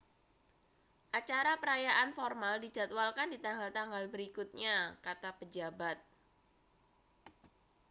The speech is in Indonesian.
acara perayaan formal dijadwalkan di tanggal-tanggal berikutnya kata pejabat